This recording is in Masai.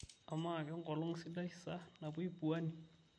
amaa kengolong sidai sa napuoi pwani